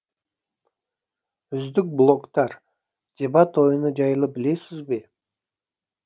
үздік блогтар дебат ойыны жайлы білесіз бе